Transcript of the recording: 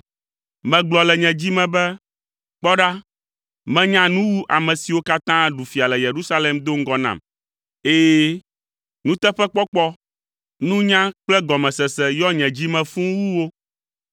Megblɔ le nye dzi me be, “Kpɔ ɖa, menya nu wu ame siwo katã ɖu fia le Yerusalem do ŋgɔ nam. Ɛ̃, nuteƒekpɔkpɔ, nunya kple gɔmesese yɔ nye dzi me fũu wu wo.”